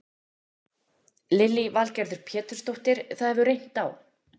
Lillý Valgerður Pétursdóttir: Það hefur reynt á?